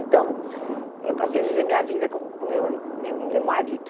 Então, eu passei a viver minha vida com o com o meu eh meu meu marido.